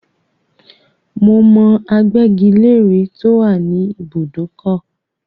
Mo mọ agbẹ́gi-lére tó wà ní ìbùdókọ̀.